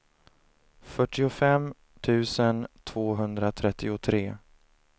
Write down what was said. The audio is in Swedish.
fyrtiofem tusen tvåhundratrettiotre